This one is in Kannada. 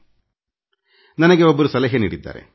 ಒಬ್ಬರು ನನಗೆ ಒಂದು ಸಲಹೆ ನೀಡಿದ್ದಾರೆ